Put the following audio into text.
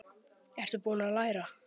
Ertu búinn að læra?